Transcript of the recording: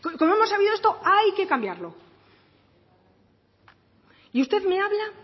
como hemos sabido esto hay que cambiarlo usted me habla